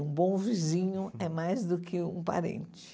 Um bom vizinho é mais do que um parente.